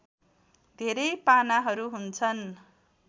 धेरै पानाहरू हुन्छन्